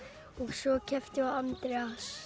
svo keppti ég á Andrés